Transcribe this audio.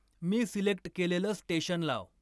मी select केलेलं station लाव